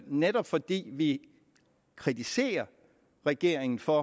netop fordi vi kritiserer regeringen for